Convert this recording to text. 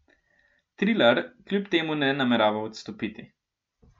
Trilar kljub temu ne namerava odstopiti.